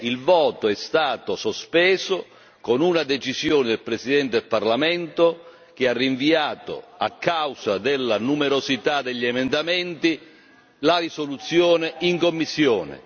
Il voto è stato sospeso con una decisione del Presidente del Parlamento che ha rinviato, a causa della numerosità degli emendamenti, la risoluzione in commissione.